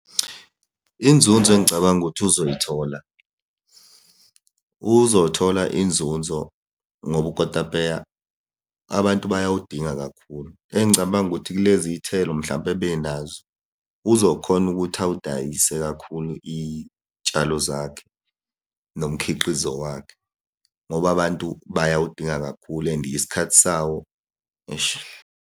Inzunzo engicabanga ukuthi uzoyithola, uzothola inzunzo ngoba ukotapeya abantu bayawudinga kakhulu. Engicabanga ukuthi kulezi iy'thelo mhlampe abenazo, uzokhona ukuthi awudayise kakhulu iy'tshalo zakhe nomkhiqizo wakhe, ngoba abantu bayawudinga kakhulu and isikhathi sawo, eish.